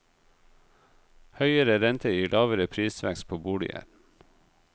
Høyere rente gir lavere prisvekst på boliger.